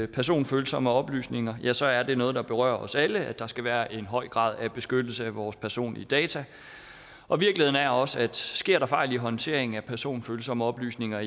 personfølsomme oplysninger ja så er det noget der berører os alle altså at der skal være en høj grad af beskyttelse af vores personlige data og virkeligheden er også at sker der fejl i håndteringen af personfølsomme oplysninger